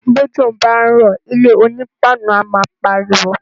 Bójò bá ń rò ilé oní páànù a má pariwo.